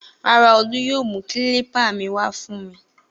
Rárá, Olú yóò mú kílípà mi wá fún mi.